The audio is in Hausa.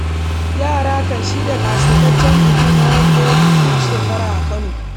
Yara kan shirya ƙasaitaccen bikin hawan doki, duk shekara a Kano.